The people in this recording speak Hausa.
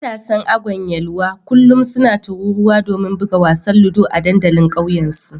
Matasan Agwan Yelwa kullum suna taruwa domin buga wasan ludo a dandalin kauye su